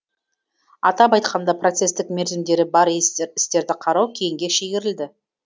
атап айтқанда процестік мерзімдері бар істерді қарау кейінге шегерілді